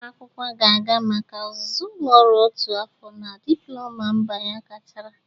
Nwa akwụkwọ ga-aga maka ọzụzụ ụlọ ọrụ otu afọ ka Diploma mba ya gachara